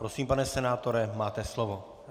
Prosím, pane senátore, máte slovo.